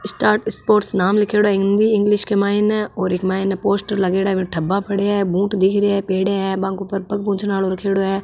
Star Sports नाम लीखेड़ो है हिंदी इंग्लिश के माइने और एक माइने पोस्टर लगेड़ा है बूंट दिख रिया है पेडिया है बा के ऊपर पग पोछने आलो रखयोडो है।